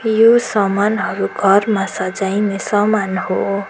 यो समानहरू घरमा सजाइने सामान हो।